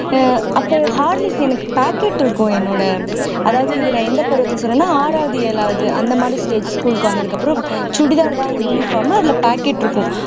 ஆஹ் அப்போ horlicks எனக்கு packet இருக்கும் என்னோட அதாவது இது நான் எந்த பருவத்தை சொல்றேன்னா ஆறாவது ஏழாவது அந்த மாதிரி stage school க்கு வந்ததுக்கப்புறம் சுடிதார்தான் uniform அதுல pocket இருக்கும்